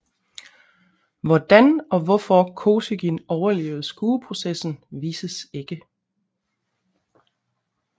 Hvordan og hvorfor Kosygin overlevede skueprocessen vises ikke